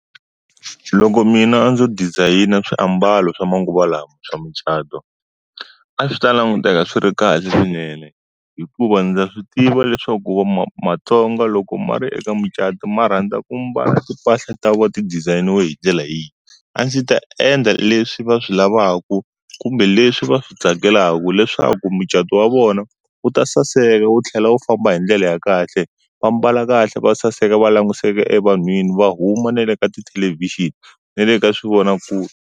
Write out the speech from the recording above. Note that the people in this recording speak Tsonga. Loko mina ndzo dizayina swiambalo swa manguva lawa swa mucato. A swi ta languteka swi ri kahle swinene. Hikuva ndza swi tiva leswaku ku matsonga loko ma ri eka mucato ma rhandza ku mbala timpahla ta voho ti dizayiniwe hi ndlela yihi. A ndzi ta endla leswi va swi lavaku kumbe leswi va swi tsakelaku leswaku mucato wa vona, wu ta saseka wu tlhela wu famba hi ndlela ya kahle. Va mbala kahle va saseka va langutiseka evanhwini, va huma na le ka tithelevhixini na le ka swivonakule.